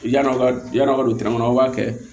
Yann'aw ka yan'a ka don tɛrɛmɛn kɔnɔ aw b'a kɛ